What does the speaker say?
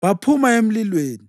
baphuma emlilweni,